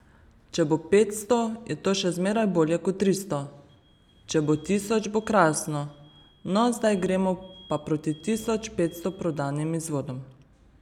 Če bo petsto, je to še zmeraj bolje kot tristo, če bo tisoč, bo krasno, no, zdaj gremo pa proti tisoč petsto prodanim izvodom.